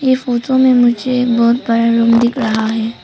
ये फोटो में मुझे एक बहोत बड़ा रूम दिख रहा है।